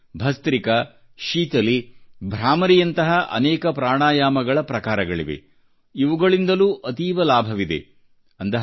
ಆದರೆ ಭಸ್ತ್ರಿಕಾ ಶೀತಲೀ ಭ್ರಾಮರಿಯಂತಹ ಅನೇಕ ಪ್ರಾಣಾಯಾಮಗಳ ಪ್ರಕಾರಗಳಿವೆ ಇವುಗಳಿಂದಲೂ ಅತೀವ ಲಾಭವಿದೆ